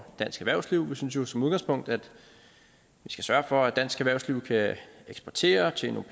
dansk erhvervsliv vi synes jo som udgangspunkt at vi skal sørge for at dansk erhvervsliv kan eksportere og tjene